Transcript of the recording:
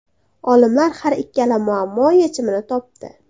Olimlar har ikkala muammo yechimini topdi.